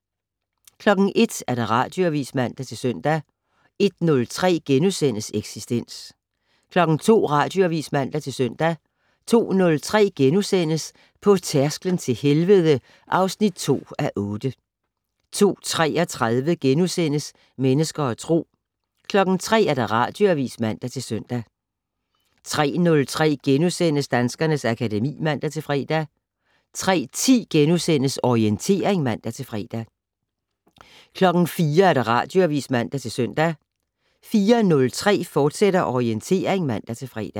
01:00: Radioavis (man-søn) 01:03: Eksistens * 02:00: Radioavis (man-søn) 02:03: På tærsklen til helvede (2:8)* 02:33: Mennesker og Tro * 03:00: Radioavis (man-søn) 03:03: Danskernes akademi *(man-fre) 03:10: Orientering *(man-fre) 04:00: Radioavis (man-søn) 04:03: Orientering, fortsat (man-fre)